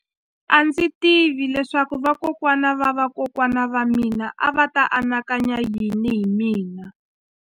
A ndzi tivi leswaku vakokwana-va-vakokwana va mina a va ta anakanya yini hi mina.